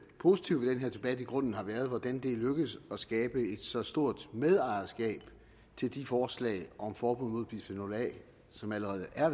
positive ved den her debat i grunden har været hvordan det er lykkedes at skabe et så stort medejerskab til de forslag om forbud mod bisfenol a som allerede er